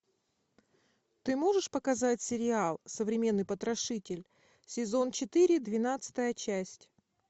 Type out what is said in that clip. ты можешь показать сериал современный потрошитель сезон четыре двенадцатая часть